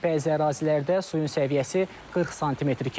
Bəzi ərazilərdə suyun səviyyəsi 40 sm keçib.